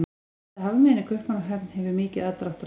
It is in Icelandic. Litla hafmeyjan í Kaupmannahöfn hefur mikið aðdráttarafl.